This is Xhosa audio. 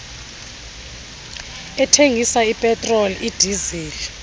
ethengisa ipetroli idizili